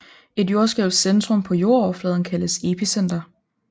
Et jordskælvs centrum på jordoverfladen kaldes epicenter